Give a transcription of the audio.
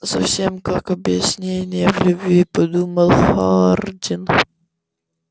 совсем как объяснение в любви подумал хардин